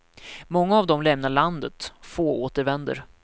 Många av dem lämnar landet, få återvänder.